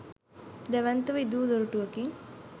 දැවැන්තව ඉදිවූ දොරටුවකින්